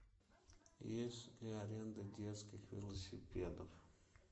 есть ли аренда детских велосипедов